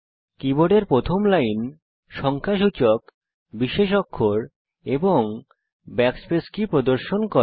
কীবোর্ডের প্রথম লাইন সংখ্যাসূচক বিশেষ অক্ষর ও ব্যাকস্পেস কী প্রদর্শন করে